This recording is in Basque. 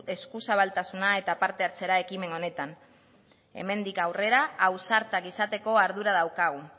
eskuzabaltasuna eta parte hartzea ekimen honetan hemendik aurrera ausartak izateko ardura daukagu